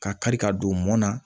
Ka kari ka don mɔn na